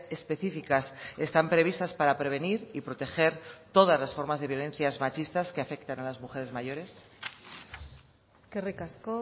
específicas están previstas para prevenir y proteger todas las formas de violencias machistas que afectan a las mujeres mayores eskerrik asko